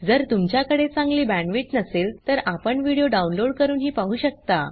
जर तुमच्याकडे चांगली बॅण्डविड्थ नसेल तर आपण व्हिडिओ डाउनलोड करूनही पाहू शकता